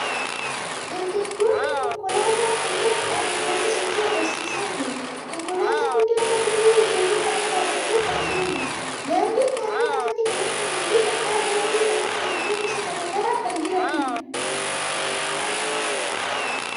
Dargaggoonni konkolaataa fuuldura dhaabbatanii sochii agarsiisaa jiru. Konkolaataa guddaan tokko duuba ijoollee kanaa dhaabbatee kan jiruudha. Daandin naannoo kanatti kan argamuu fi qarqara daandii kanaatti mukkeen gosa garagaraa kan jiruudha.